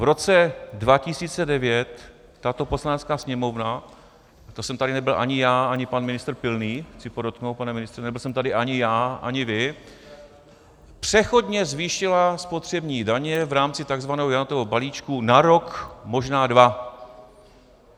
V roce 2009 tato Poslanecká sněmovna, to jsem tady nebyl ani já, ani pan ministr Pilný - chci podotknout, pane ministře, nebyl jsem tady ani já, ani vy - přechodně zvýšila spotřební daně v rámci tzv. Janatova balíčku na rok, možná dva.